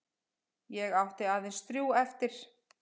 Ég átti aðeins þrjú eftir.